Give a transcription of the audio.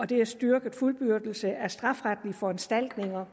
det er styrket fuldbyrdelse af strafferetlige foranstaltninger